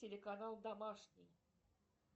телеканал домашний